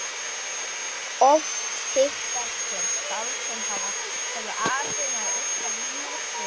Oft hittast hér skáld sem hafa það að atvinnu að yrkja rímur út af sögum.